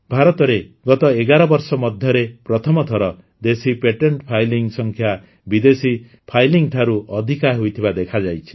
ଭାରତରେ ଗତ ୧୧ ବର୍ଷ ମଧ୍ୟରେ ପ୍ରଥମ ଥର ଦେଶୀ ପେଟେଣ୍ଟ ଫାଇଲିଂ ସଂଖ୍ୟା ବିଦେଶୀ ଫାଇଲିଂ ଠାରୁ ଅଧିକ ହୋଇଥିବା ଦେଖାଯାଇଛି